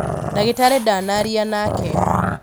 ndagĩtarĩ ndanaria nake